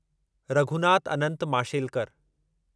Raghunath Anant Mashelkar